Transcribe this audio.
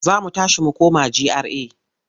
Za mu tashi mu koma GRA.